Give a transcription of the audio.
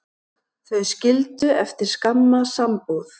Þau skildu eftir skamma sambúð.